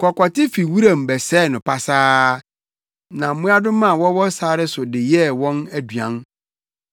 Kɔkɔte fi wuram bɛsɛe no pasaa na mmoadoma a wɔwɔ sare so de yɛ wɔn aduan.